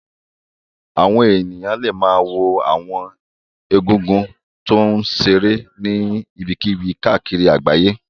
Àwọn èèyàn lè ma wo àwọn egúngún tó ń ṣeré ní ibikíbi káàkiri àgbáyé